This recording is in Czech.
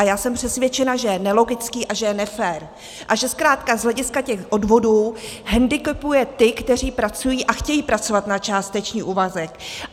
A já jsem přesvědčena, že je nelogický a že je nefér a že zkrátka z hlediska těch odvodů hendikepuje ty, kteří pracují a chtějí pracovat na částečný úvazek.